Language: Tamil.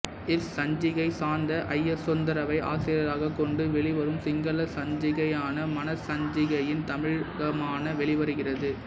இச்சஞ்சிகை சாந்த ஜயசுந்தரவை ஆசிரியராகக் கொண்டு வெளிவரும் சிங்கள சஞ்சிகையான மனச சஞ்சிகையின் தமிழாக்கமாக வெளிவருகிறது